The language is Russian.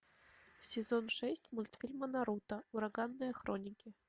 сезон шесть мультфильма наруто ураганные хроники